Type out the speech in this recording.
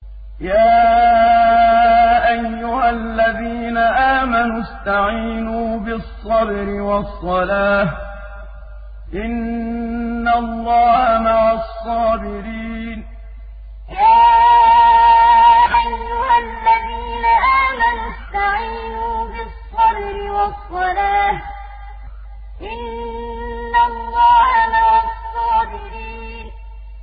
يَا أَيُّهَا الَّذِينَ آمَنُوا اسْتَعِينُوا بِالصَّبْرِ وَالصَّلَاةِ ۚ إِنَّ اللَّهَ مَعَ الصَّابِرِينَ يَا أَيُّهَا الَّذِينَ آمَنُوا اسْتَعِينُوا بِالصَّبْرِ وَالصَّلَاةِ ۚ إِنَّ اللَّهَ مَعَ الصَّابِرِينَ